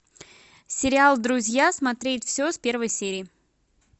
сериал друзья смотреть все с первой серии